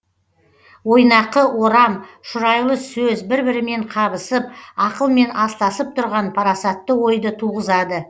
ойнақы орам шұрайлы сөз бір бірімен қабысып ақылмен астасып тұрған парасатты ойды туғызады